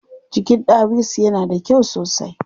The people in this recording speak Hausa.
Jikin ɗawisu yana da kyau sosai.